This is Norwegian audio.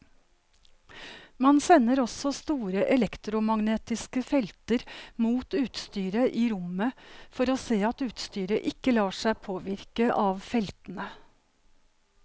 Man sender også store elektromagnetiske felter mot utstyret i rommet for å se at utstyret ikke lar seg påvirke av feltene.